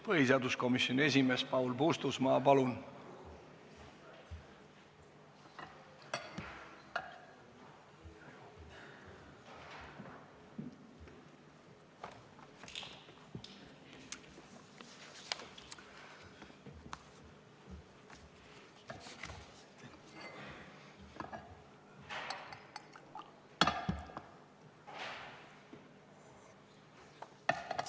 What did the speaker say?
Põhiseaduskomisjoni esimees Paul Puustusmaa, palun!